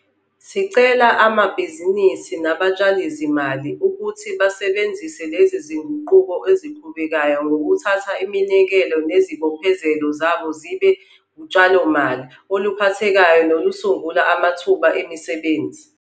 Sicela amabhizinisi nabatshalizimali ukuthi basebenzise lezi zinguquko eziqhubekayo ngokuthatha iminikelo nezibophezelo zabo zibe utshalomali oluphathekayo nolusungula amathuba emisebenzi.